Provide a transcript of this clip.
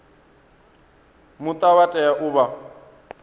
muta vha tea u vha